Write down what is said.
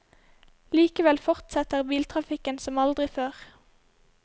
Likevel fortsetter biltrafikken som aldri før.